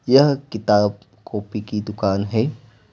यह किताब कॉपी की दुकान है।